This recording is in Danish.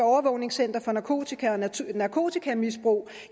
overvågningscenter for narkotika og narkotikamisbrug